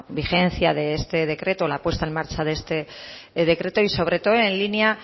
vigencia de este decreto o la puesta en marcha de este decreto y sobre todo en línea